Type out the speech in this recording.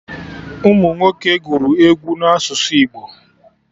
Ụmụnwoke gụrụ egwu na asụsụ Igbo